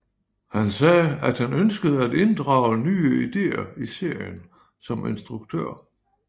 Han sagde at han ønskede at inddrage nye ideer i serien som instruktør